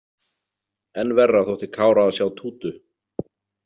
Enn verra þótti Kára að sjá Tútu.